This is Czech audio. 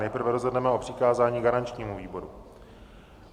Nejprve rozhodneme o přikázání garančnímu výboru.